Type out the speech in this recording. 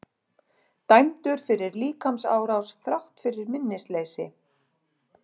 Dæmdur fyrir líkamsárás þrátt fyrir minnisleysi